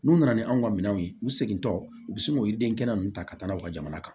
N'u nana ni anw ka minɛnw ye u seginnentɔ u bɛ sin k'o yiriden kɛnɛ ninnu ta ka taa n'aw ka jamana kan